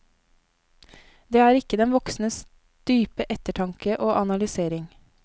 Det er ikke den voksnes dype ettertanke og analysering.